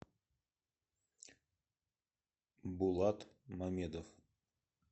булат мамедов